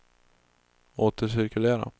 återcirkulera